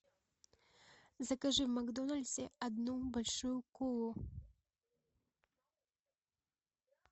закажи в макдональдсе одну большую колу